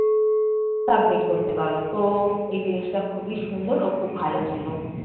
submit করতে পারবো। তো এই জিনিসটা খুবই সুন্দর ও খুব ভালো ছিল।